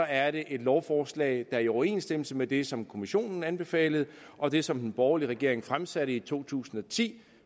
er det et lovforslag der er i overensstemmelse med det som kommissionen anbefalede og det som den borgerlige regering fremsatte i to tusind og ti